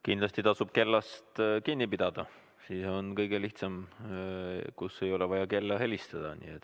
Kindlasti tasub ise kella jälgida, siis on kõige lihtsam ja ei ole vaja juhatajal kella helistada.